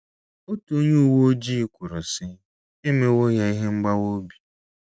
Otu onye uwe ojii kwuru, sị: “ E mewo ya ihe mgbawa obi.